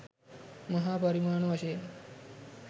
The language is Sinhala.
මහා පරිමාණ වශයෙන්